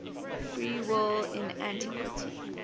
free will in antiquity